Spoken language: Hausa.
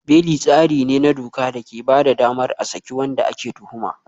Beli tsari ne na doka da ke ba da damar a saki wanda ake tuhuma.